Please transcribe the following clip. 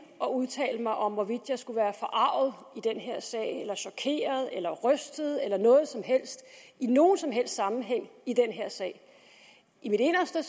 at udtale mig om hvorvidt jeg skulle være forarget eller chokeret eller rystet eller noget som helst i nogen som helst sammenhæng i den her sag i mit inderste